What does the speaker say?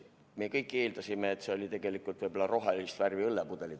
Me kõik eeldasime, et need olid tegelikult rohelist värvi õllepudelid.